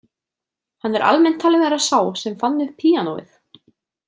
Hann er almennt talinn vera sá sem fann upp píanóið.